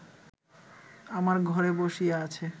আমার ঘরে বসিয়া আছে